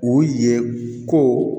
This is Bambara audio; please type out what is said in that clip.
U ye ko